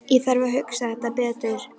Ég þarf að hugsa þetta betur.